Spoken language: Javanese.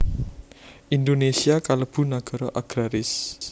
Indonésia kalebu nagara agraris